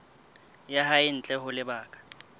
ya hae ntle ho lebaka